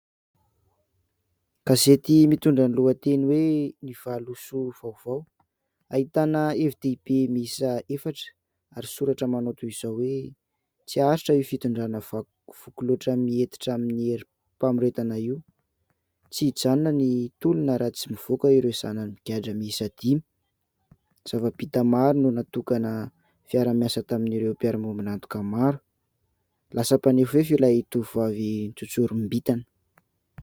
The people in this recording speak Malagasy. Gazety mitondra ny lohateny hoe "Ny valisoa vaovao" ahitana hevi-dehibe miisa efatra ary soratra manao toy izao hoe : "Tsy haharitra io fitondrana voky loatra miantehitra amin'ny herim-pamoretana io. "" Tsy hijanona ny tolona raha tsy mivoaka ireo zanany migadra miisa dimy. " "Zava-bita maro no natokana fiara-miasa tamin'ireo mpiara-miombin'antoka maro." "Lasa mpanefoefo ilay tovovavy nitsontsorim-bintana. "